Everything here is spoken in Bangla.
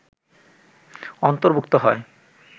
অন্তর্ভুক্ত হয়